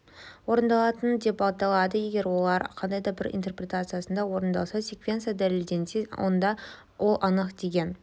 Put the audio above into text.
орындалатын деп аталады егер ол қандай да бір интерпретациясында орындалса секвенциясы дәлелденсе онда ол анық деген